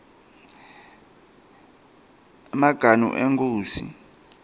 emaganu enkhosi